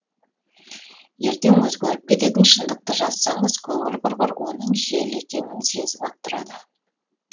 ертең өзгеріп кететін шындықты жазсаңыз көңіл құрғыр оның жел екенін сезіп ақ тұрады